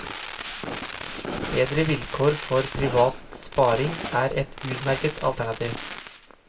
Bedre vilkår for privat sparing er et utmerket alternativ.